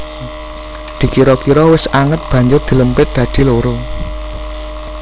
Dikira kira wis anget banjur dilempit dadi loro